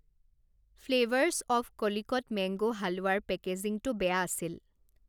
Flavours of Calicut mango হালোৱাৰ পেকেজিঙটো বেয়া আছিল।